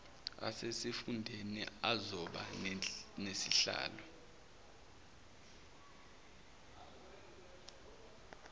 asesifundeni azoba nezihlalo